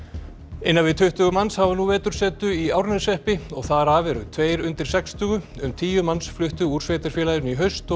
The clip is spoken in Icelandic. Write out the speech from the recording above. innan við tuttugu manns hafa nú vetursetu í Árneshreppi og þar af eru tveir undir sextugu um tíu manns fluttu úr sveitarfélaginu í haust og